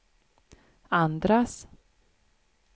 andras